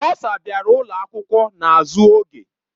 Bọsa bịara ụlọ akwụkwọ n'azụ oge.